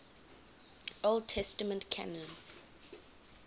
old testament canon